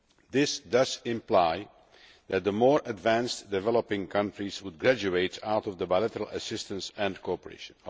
This does imply that the more advanced developing countries would graduate out of bilateral assistance and cooperation.